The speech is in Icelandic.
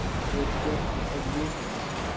Það er gott að vita það.